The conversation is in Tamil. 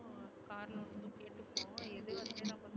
அஹ் இது வந்து